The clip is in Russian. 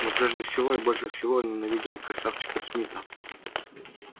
но прежде всего я больше всего ненавидел красавчика смита